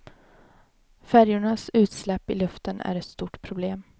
Färjornas utsläpp i luften är ett stort problem.